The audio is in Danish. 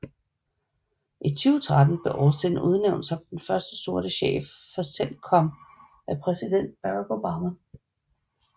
I 2013 blev Austin udnævnt som den første sorte chef for CENTCOM af præsident Barack Obama